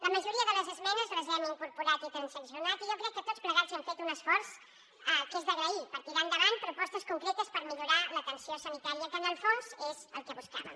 la majoria de les esmenes les hem incorporat i transaccionat i jo crec que tots plegats hem fet un esforç que és d’agrair per tirar endavant propostes concretes per millorar l’atenció sanitària que en el fons és el que buscàvem